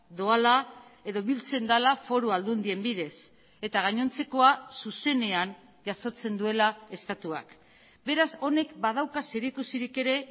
doala edo biltzen dela foru aldundien bidez eta gainontzekoa zuzenean jasotzen duela estatuak beraz honek badauka zerikusirik ere